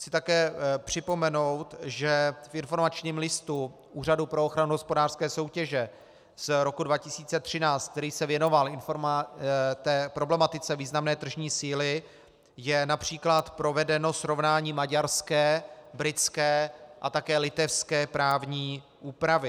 Chci také připomenout, že v informačním listu Úřadu pro ochranu hospodářské soutěže z roku 2013, který se věnoval problematice významné tržní síly, je například provedeno srovnání maďarské, britské a také litevské právní úpravy.